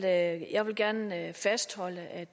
at gøre med at